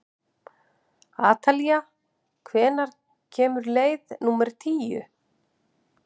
Atalía, hvenær kemur leið númer tíu?